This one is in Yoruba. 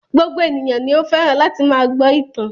Gbogbo ènìyàn ni ó fẹ́ràn láti máa gbọ́ ìtàn.